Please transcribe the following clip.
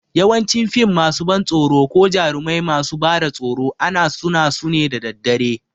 Yawancin fim masu ban tsoro ko jarumai masu bada tsoro ana suna su ne da dare